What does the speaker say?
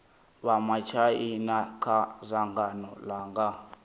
vha matshaina kha dzangano langa